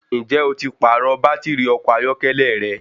Ǹjẹ́ o ti pàrọ̀ bàtìrì ọkọ̀ ayọ́kẹ́lẹ́ rẹ?